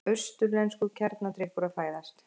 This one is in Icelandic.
Austurlenskur kjarnadrykkur að fæðast.